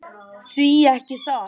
Því ekki það.